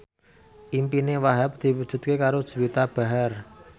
impine Wahhab diwujudke karo Juwita Bahar